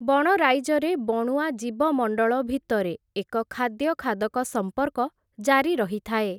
ବଣରାଇଜରେ ବଣୁଆ ଜୀବମଣ୍ଡଳ ଭିତରେ, ଏକ ଖାଦ୍ୟ-ଖାଦକ ସମ୍ପର୍କ, ଜାରି ରହିଥାଏ ।